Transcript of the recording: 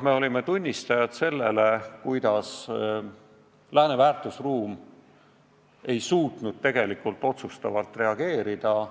Me olime tunnistajad sellele, kuidas lääne väärtusruum ei suutnud tegelikult otsustavalt reageerida,